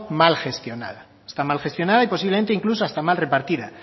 mal gestionada está mal gestionada y posiblemente incluso hasta mal repartida